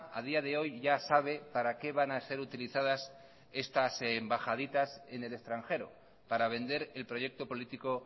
a día de hoy ya sabe para qué van a ser utilizadas estas embajaditas en el extranjero para vender el proyecto político